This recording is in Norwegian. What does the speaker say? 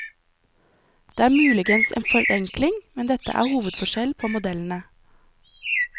Dette er muligens en forenkling, men dette er hovedforskjell på modellene.